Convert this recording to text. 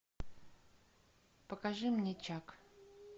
покажи мне чак